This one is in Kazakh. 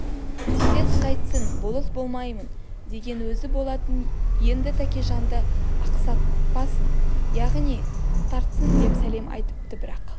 тез қайтсын болыс болмаймын деген өзі болатын енді тәкежанды ақсатпасын аяғын тартсын деп сәлем айтыпты бірақ